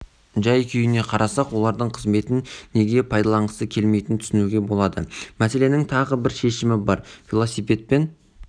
жай-күйіне қарасақ олардың қызметін неге пайдаланғысы келмейтінін түсінуге болады мәселенің тағы бір шешімі бар велосипедпен